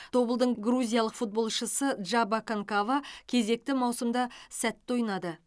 тобылдың грузиялық футболшысы джаба канкава кезекті маусымда сәтті ойнады